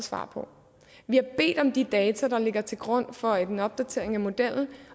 svar på vi har bedt om de data der ligger til grund for en opdatering af modellen